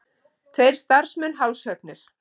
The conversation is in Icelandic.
Tveir starfsmenn hálshöggnir